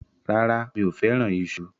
Rárá, mi ò fẹ́ràn iṣu.